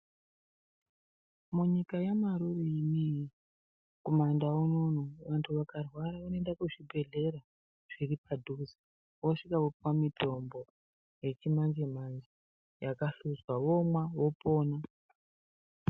Munyika yaMarure inoyi , kumandau unono vanthu vakarwara vanoenda kuchibhehlera zviri padhuze, vosvika vopuwa mutombo yechimanje manje yakahluzwa vomwa vopona.